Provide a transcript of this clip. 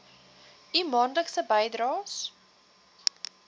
u maandelikse bydraes